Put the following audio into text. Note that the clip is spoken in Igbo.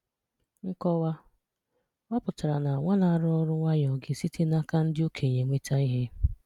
Nkọwa: Ọ pụtara na nwa na-arụ ọrụ nwayọọ ga-esite n’aka ndi okenye nweta ihe.